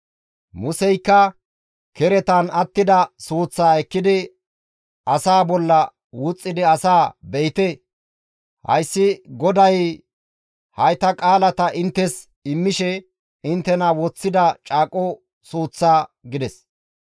Museykka keretan attida suuththaa ekkidi asaa bolla wuxxidi asaa, «Be7ite, hayssi GODAY hayta qaalata inttes immishe inttenara woththida caaqo suuththa» gides.